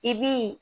I bi